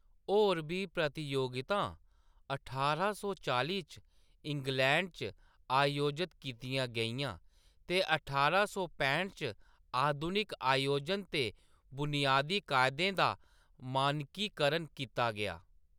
होर बी प्रतियोगितां ठारां सौ चालीं च इंग्लैंड च आयोजत कीतियां गेइयां ते ठारां सौ पैह्ट च आधुनिक आयोजन दे बुनियादी कायदें दा मानकीकरण कीता गेआ।